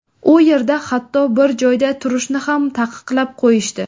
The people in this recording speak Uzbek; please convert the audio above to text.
U yerda hatto, bir joyda turishni ham taqiqlab qo‘yishdi.